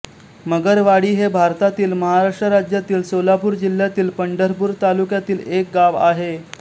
मगरवाडी हे भारतातील महाराष्ट्र राज्यातील सोलापूर जिल्ह्यातील पंढरपूर तालुक्यातील एक गाव आहे